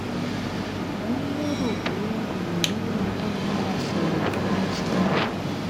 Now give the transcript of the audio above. mo n lero boya mo le ri enikan soro fun soro fun